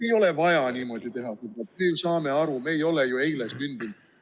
Ei ole vaja niimoodi teha, me ju saame aru, me ei ole eile sündinud.